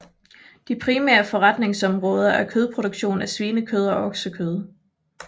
De primære forretningsområder er kødproduktion af svinekød og oksekød